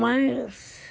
Mas...